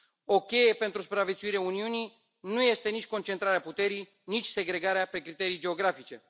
O cheie pentru supraviețuirea Uniunii nu este nici concentrarea puterii, nici segregarea pe criterii geografice.